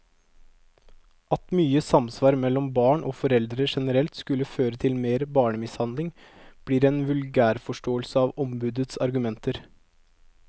At mye samvær mellom barn og foreldre generelt skulle føre til mer barnemishandling, blir en vulgærforståelse av ombudets argumenter.